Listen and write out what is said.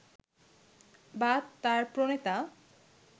বা তার প্রণেতা